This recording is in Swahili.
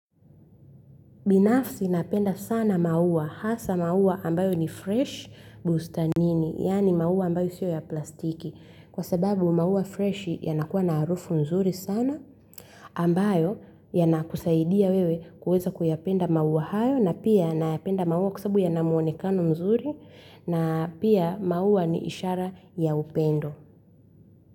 Binafsi napenda sana maua hasa maua ambayo ni fresh bustanini yaani maua ambayo sio ya plastiki kwa sababu maua fresh yanakuwa na harufu nzuri sana ambayo yanakusaidia wewe kuweza kuyapenda maua hayo, na pia nayapenda maua kwa sababu yanamuonekano mzuri, na pia maua ni ishara ya upendo.